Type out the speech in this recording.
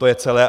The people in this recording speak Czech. To je celé.